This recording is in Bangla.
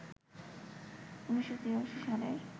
১৯৮৩ সালের